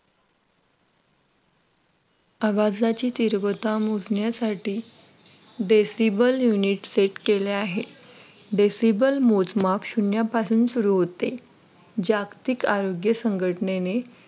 आवाजाची तीव्रता मोजण्यासाठी DECIBEL UNITSET केले आहे. DECIBEL मोजमाप शून्यापासून सुरू होते जागतिक आरोग्य संघटनेने